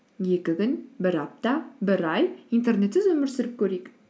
екі күн бір апта бір ай интернетсіз өмір сүріп көрейік